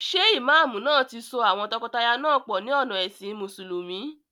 Ṣé ìmáàmù náà ti so àwọn tọkọtaya náà pọ̀ ní ọ̀nà ẹ̀sìn mùsùlùmí?